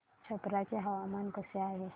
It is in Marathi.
छप्रा चे हवामान कसे आहे